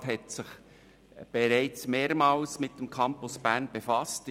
Der Grosse Rat hat sich bereits mehrmals mit dem Campus Bern befasst.